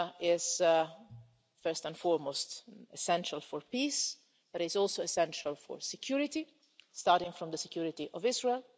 is, first and foremost, essential for peace, but is also essential for security, starting from the security of Israel.